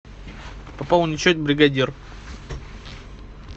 пополнить счет бригадир